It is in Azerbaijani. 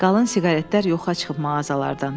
Qalın siqaretlər yoxa çıxıb mağazalardan.